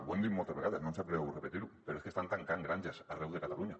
ho hem dit moltes vegades no em sap greu repetir ho però és que estan tancant granges arreu de catalunya